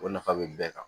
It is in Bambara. O nafa bɛ bɛɛ kan